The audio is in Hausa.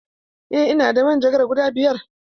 Eh, ina da manjagara guda biyar.